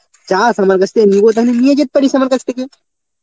চাস আমার কাছ থেকে নিবে তাহলে নিয়ে যেত পারিস আমার কাছ থেকে.